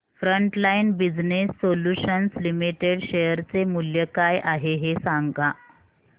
frontline Business Solutions Limited share चे मूल्य काय आहे हे सांगा